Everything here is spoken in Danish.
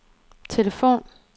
telefon